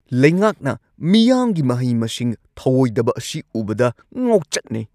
ꯂꯩꯉꯥꯛꯅ ꯃꯤꯌꯥꯝꯒꯤ ꯃꯍꯩ-ꯃꯁꯤꯡ ꯊꯧꯑꯣꯢꯗꯕ ꯑꯁꯤ ꯎꯕꯗ ꯉꯥꯎꯆꯠꯅꯩ꯫